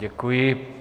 Děkuji.